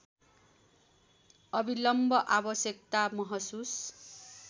अविलम्ब आवश्यकता महसुस